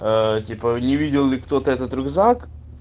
типа не видел ли кто-то этот рюкзак